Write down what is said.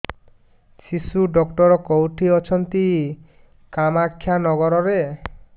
ଶିଶୁ ଡକ୍ଟର କୋଉଠି ଅଛନ୍ତି କାମାକ୍ଷାନଗରରେ